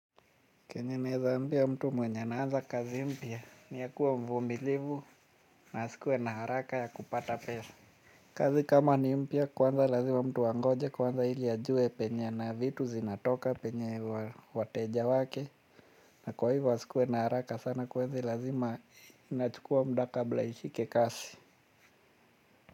Kenye naeza ambia mtu mwenye anaanza kazi mpya niyakuwa mvumilivu na asikue na haraka ya kupata pesa. Kazi kama ni mpya kwanza lazima mtu angoje kwanza ili ajue penye na vitu zinatoka penye wateja wake. Na kwa hivo wa asikue na haraka sana kwa hivo lazima inachukua muda kabla ishike kasi.